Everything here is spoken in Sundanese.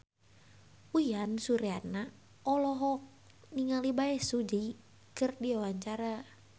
Uyan Suryana olohok ningali Bae Su Ji keur diwawancara